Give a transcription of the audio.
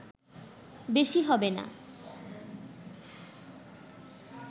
বেশি হবে না